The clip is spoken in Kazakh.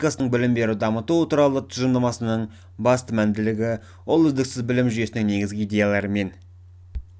қазақстан республикасының білім беру дамыту туралы тұжырымдамасының басты мәнділігі ол үздіксіз білім жүйесінің негізгі иедеялары мен